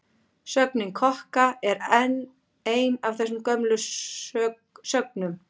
Sögnin kokka er enn ein af þessum gömlu sögnum.